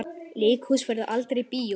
Leikhús verður aldrei bíó.